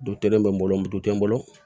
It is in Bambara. Du telen bɛ n bolo mu tɛ n bolo